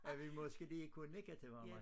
At vi måske lige kunne nikke til hverandre